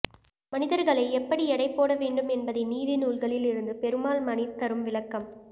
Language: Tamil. மனிதர்களை எப்படி எடைபோட வேண்டும் என்ப்தை நீதி நூல்களில் இருந்து பெருமாள் மணி தரும் விளக்கம்